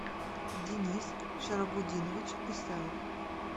денис шарабудинович исаев